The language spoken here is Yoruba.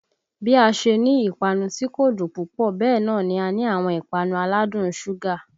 Bí a ṣe ní ìpanu tí kò dùn púpọ̀ bẹ́ẹ̀ náà ni a ní àwọn ìpanu aládùn un ṣúgà